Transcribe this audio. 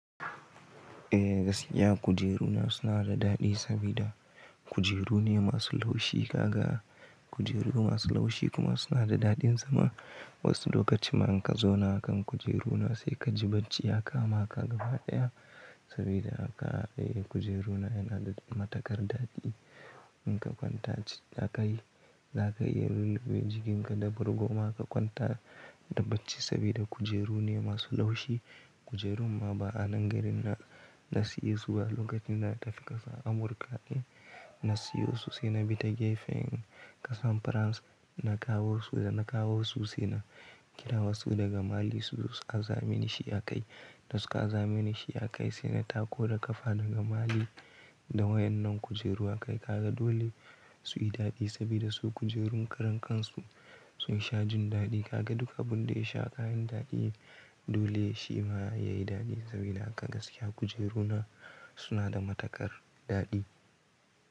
Eh gaskiya kujeru na suna da daɗi sabida kujeru ne masu laushi. Kaga kujeru masu laushi kuma suna da daɗin zama. Wasu lokaci ma in ka zauna a kan kujeru na sai ka ji bacci ya kama ka gaba ɗaya sabida haka eh kujeru na yana da matukar daɗi. In ka kwanta c-a kai, za ka iya lulluɓe jikinka da bargon ma ka kwanta da bacci sabida kujeru ne masu laushi. Kujeru ma ba'a nan gari na, na siye su a lokacin na tafi ƙasar Amurka. Na siyo su sai na bi ta gefen ƙasar Faransa, na kawo su da na kawo su sai na kira wasu daga Mali su ƙara zamini shi a kai. Da su ka aza mini shi a kai sai na tako da ƙafa daga Mali da wayen nan kujeru aka yi. Kaga dole su yi daɗi sabida su kujerun karan kan su sun sha jin daɗi. Kaga duk abin da ya sha kayin daɗi ne dole shi ma ya yi daɗi sabida haka gaskiya kujeru na suna da matukar daɗi.